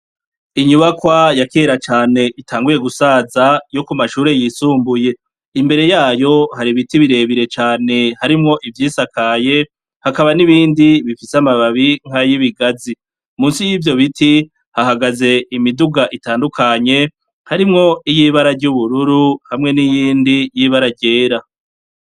Inyubakwa ya kera cane, itanguye gusaza yo ku mashure yisumbuye, imbere yayo hari ibiti birebire cane, harimwo ivyisakaye hakaba hari nibindi bifise amababi nk'ayibigazi. Musi yivyo biti hahagaze imiduga itandukanye harimwo iyibara ry'ubururu hamwe n'iyindi y'ibara ryera.